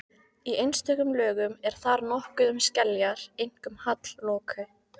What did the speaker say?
Í einstökum lögum er þar nokkuð um skeljar, einkum hallloku.